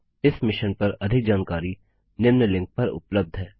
इस मिशन पर अधिक जानकारी निम्न लिंक पर उपलब्ध है